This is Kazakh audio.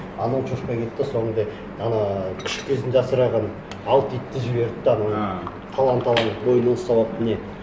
анау шошқа келеді де сонында ана күшік кезінде асыраған алты итті жіберді де ана талан талан мойынын ұстап алып не